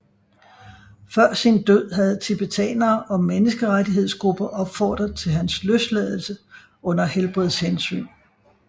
Før sin død havde tibetanere og menneskerettighedsgrupper opfordret til hans løsladelse under helbedshensyn